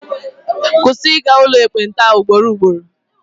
Kwụsị ịga n'ụlọ ekpenta ugboro ugboro!